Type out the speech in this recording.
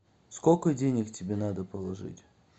сколько денег тебе надо положить